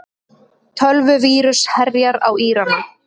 Tölvuvírus herjar á Írana